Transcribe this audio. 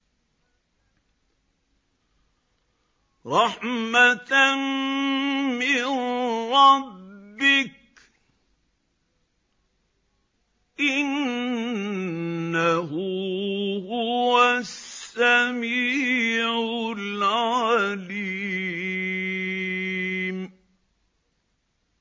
رَحْمَةً مِّن رَّبِّكَ ۚ إِنَّهُ هُوَ السَّمِيعُ الْعَلِيمُ